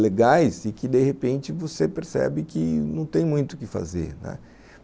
legais e que, de repente, você percebe que não tem muito o que fazer, né.